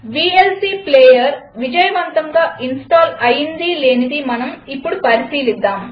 VLC player విజయవంతంగా install అయిందీ లేనిదీ మనం ఇప్పుడు పరిశీలిద్దాం